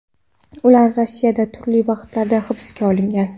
Ular Rossiyada turli vaqtlarda hibsga olingan.